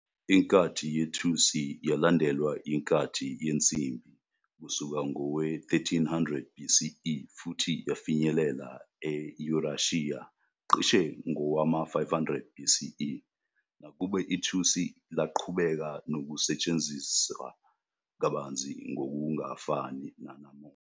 Inkathi yethusi yalandelwa inkathi yensimbi kusuka ngowe-1300 BCE futhi yafinyelela eYurashiya cishe ngowama-500 BCE, nakuba ithusi laqhubeka nokusetshenziswa kabanzi ngokungafani nanamuhla.